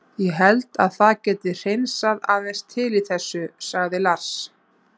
Þetta verður tímabilið hans adda það er alveg klárt hann er í toppformi.